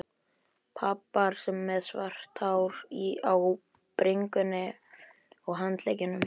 Pabbar með svart hár á bringunni og handleggjunum.